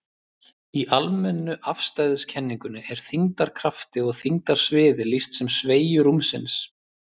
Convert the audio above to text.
Í almennu afstæðiskenningunni er þyngdarkrafti og þyngdarsviði lýst sem sveigju rúmsins.